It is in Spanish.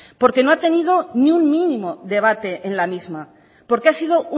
porque no ha tenido ni un mínimo debate en la misma porque ha sido